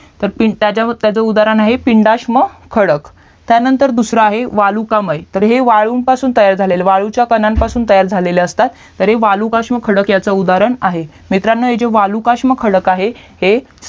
तर त्याचा उदाहरण आहे पिंडाश्म खडक त्यानंतर दूसरा आहे वालुकामय तर हे वाळूंपासून तयार झालेलं वाळूंच्या कणापासून तयार झालेले असतात तर हे वाळूकष्म खडक ह्याचा उदाहरण आहे मित्रांनो हे जे वाळूकष्म खडक आहे ते